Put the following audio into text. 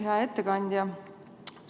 Hea ettekandja!